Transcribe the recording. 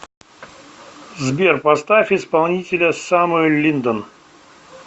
сбер поставь исполнителя самуэль линдон